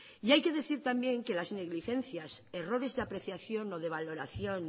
hay que decir también que las negligencias errores de apreciación o de valoración